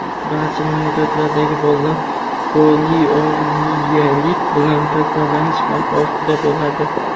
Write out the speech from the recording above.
barcha mamlakatlardagi bolalar poliomiyelit bilan kasallanish xavfi ostida bo‘ladi.